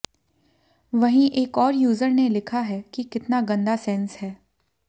वहीं एक और यूजर ने लिखा है कि कितना गंदा सेंस है